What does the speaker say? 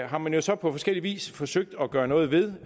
har man jo så på forskellig vis forsøgt at gøre noget ved